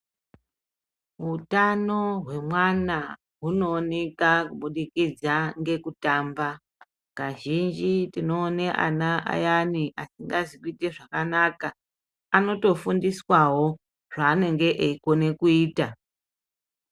Hutano hwemwana hunooneka kubudikidza ngekutamba. Kazhinji tinoone ana ayani asingazi kuite zvakanaka anotofundiswavo zvaanenge eikona kuita.